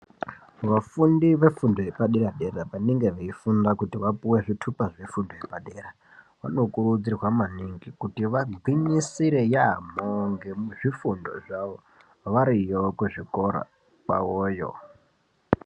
Vafundi vefundo yepaderadera vanenge veifunda kuti vapuwe zvitupa zvefundo yepadera vanokurudzirwa maningi kuti vagwinyisire yaampho ngezvifundo zvavo variyo kuzvikora kwavoyo.